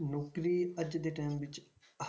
ਨੌਕਰੀ ਅੱਜ ਦੇ time ਵਿੱਚ